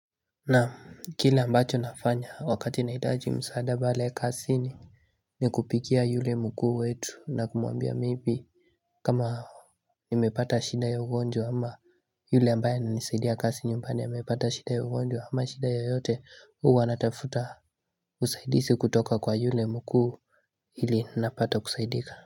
Na kile ambacho nafanya wakati nahitaji msaada pale kazini ni kupikia yule mkuu wetu na kumuambia maybe kama nimepata shida ya ugonjwa ama yule ambayo nisaidia kazi nyumbani amapata shida ya ugonjwa ama shida ya yote huwa natafuta usaidizi kutoka kwa yule mkuu ili napata kusaidika.